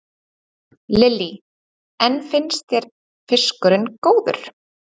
Lillý: En finnst þér fiskurinn góður?